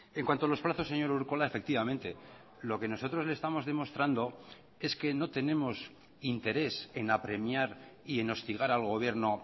en cuanto a los plazos señor urkola efectivamente lo que nosotros le estamos demostrando es que no tenemos interés en apremiar y en hostigar al gobierno